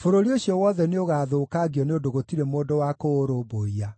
bũrũri ũcio wothe nĩũgathũkangio nĩ ũndũ gũtirĩ mũndũ wakũũrũmbũiya.